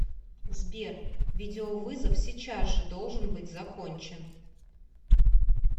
сбер видеовызов сейчас же должен быть закончен